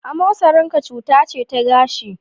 Amosarin ka cuta ce ta gashi.